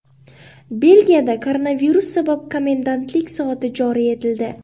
Belgiyada koronavirus sabab komendantlik soati joriy etildi.